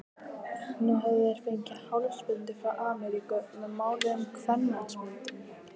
Nú höfðu þeir fengið hálsbindi frá Ameríku með máluðum kvenmannsmyndum.